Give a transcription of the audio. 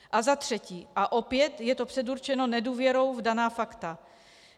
A za třetí, a opět je to předurčeno nedůvěrou v daná fakta.